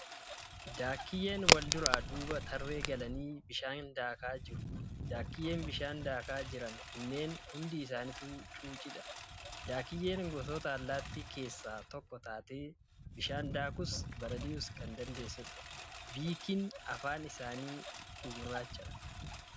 Daakiyyeen wal duraa duubaa tarree galanii bishaan daakaa jiru. Daakiyyeen bishaan daakaa jiran kunneen hundi isaanituu cuucciidha. Daakiyyeen gosoota allaattii keessaa tokko taatee bishaan daakuus balali'uus kan dandeessudha. Biikiin afaan isaanii gugurraacha.